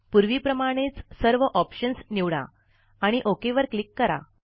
पूर्वीप्रमाणेच सर्व ऑप्शन्स निवडा आणि ओक वर क्लिक करा